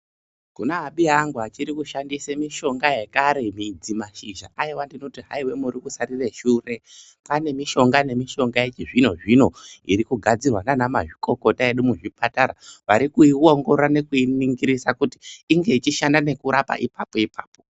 Kune abi angu achiri kushandisa mishonga yekare midzi mashizha ndinoti haiwa muri kusarira shure kwane mishonga nemishonga yechizvino zvino iri kugadzira nana mazvikokota edu muzvipatara vari kuiongorora nekuiningisa kuti unge yeishanda nekurapa ipapo ipapo.